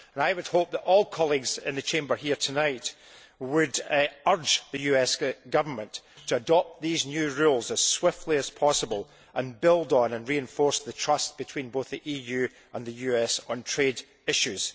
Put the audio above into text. I would hope that all colleagues in the Chamber here tonight would urge the US Government to adopt these new rules as swiftly as possible and build on and reinforce the trust between both the EU and the US on trade issues.